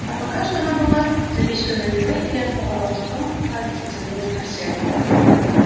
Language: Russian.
а пока что она была напичкана едой до отвала и притом так затянута в корсет